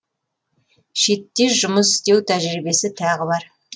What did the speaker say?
шетте жұмыс істеу тәжірибесі тағы бар